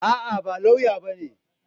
A'a, ba lauya bane.